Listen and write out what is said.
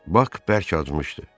Bak bərk acımışdı.